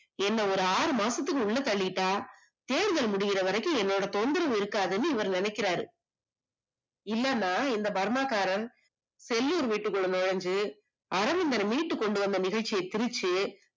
என்ன ஒரு ஆறு மாசத்துக்கு உள்ள தள்ளிட்டா, தேர்தல் முடியிற வரைக்கும் என்னோட தொந்தரவு இருக்காதுன்னு இவர் நினைக்குறாரு இல்லைனா இந்த பர்மா காரன் செல்லூர் வீட்டுக்குள்ள நுழைஞ்சு அரவிந்தன மீட்டு கொண்டுவந்த நிகழ்ச்சிய சிருச்சு